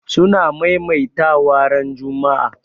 suna maimaita wa ran Juma'a